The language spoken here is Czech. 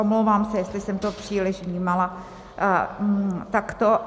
Omlouvám se, jestli jsem to příliš vnímala takto.